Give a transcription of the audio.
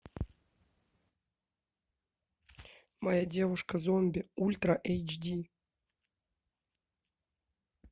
моя девушка зомби ультра эйч ди